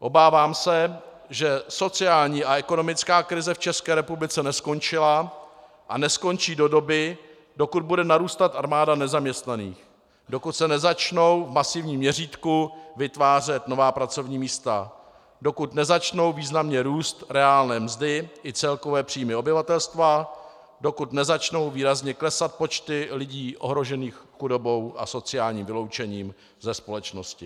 Obávám se, že sociální a ekonomická krize v České republice neskončila a neskončí do doby, dokud bude narůstat armáda nezaměstnaných, dokud se nezačnou v masivním měřítku vytvářet nová pracovní místa, dokud nezačnou významně růst reálné mzdy i celkové příjmy obyvatelstva, dokud nezačnou výrazně klesat počty lidí ohrožených chudobou a sociálním vyloučením ze společnosti.